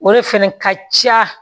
O de fɛnɛ ka ca